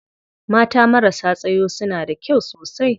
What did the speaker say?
Mata marasa tsayo suna da kyau sosai.